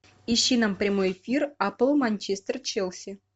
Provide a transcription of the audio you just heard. ищи нам прямой эфир апл манчестер челси